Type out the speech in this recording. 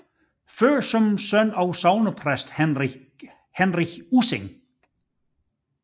Født som søn af sognepræst Henrich Ussing